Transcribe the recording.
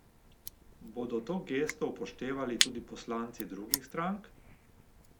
Bodo to gesto upoštevali tudi poslanci drugih strank?